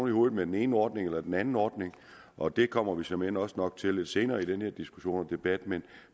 i hovedet med den ene ordning eller den anden ordning og det kommer vi såmænd også nok til lidt senere i den her diskussion og debat men